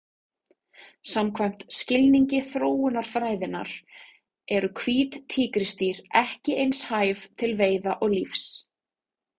Samkvæmt skilningi þróunarfræðinnar eru hvít tígrisdýr ekki eins hæf til veiða og lífs.